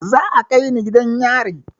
Za a kai ni gidan yari